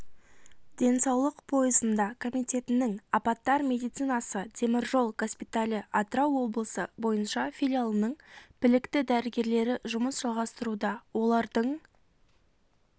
денсаулық пойызында комитетінің апаттар медицинасы теміржол госпиталі атырау облысы бойынша филиалының білікті дәрігерлері жұмыс жалғастыруда олардың